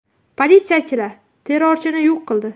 Politsiyachilar terrorchini yo‘q qildi.